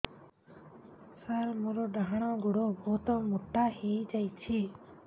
ସାର ମୋର ଡାହାଣ ଗୋଡୋ ବହୁତ ମୋଟା ହେଇଯାଇଛି